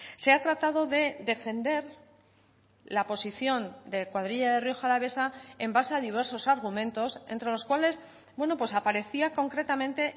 se ha tratado de defender la posición de cuadrilla de rioja alavesa en base a diversos argumentos entre los cuales aparecía concretamente